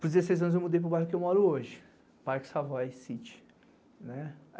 Por dezesseis anos, eu mudei para o bairro que eu moro hoje, Parque Savoy City.